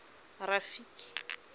rafiki